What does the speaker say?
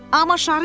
Amma şarı yox.